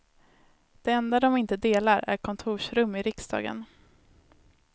Det enda de inte delar är kontorsrum i riksdagen.